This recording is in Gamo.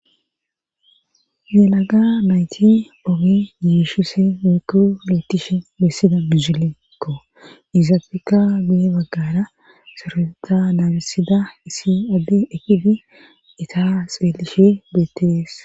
Yelaga mayti ogi yiishise weekku lettishe bessida bihilekko izafeka guye baggara soreta naabisida isi addi ekifi eta xeelishe bettees.